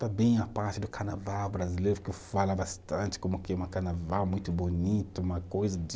Também a parte do carnaval brasileiro, que eu fala bastante como que é uma carnaval muito bonito, uma coisa de...